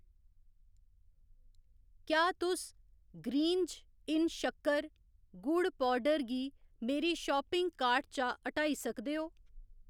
क्या तुस ग्रीन्ज इन शक्कर, गुड़ पौडर गी मेरी शापिंग कार्ट चा हटाई सकदे ओ